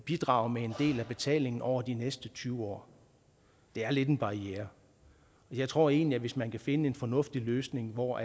bidrage med en del af betalingen over de næste tyve år det er lidt en barriere jeg tror egentlig at det hvis man kan finde en fornuftig løsning hvor